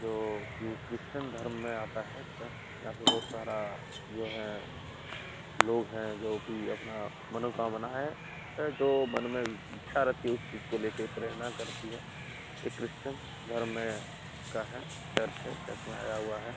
जो कि क्रिस्चियन धर्म में आता है चर्च । यहाँ पे बहोत सारा जो है लोग है जो कि अपना मनोकामना है जो मन में इच्छा रहती है उस चीज को लेके प्रेरणा करती है। ये क्रिस्चियन धर्म में का है। चर्च है। चर्च में आया हुआ है।